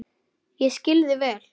Ég skil þig vel.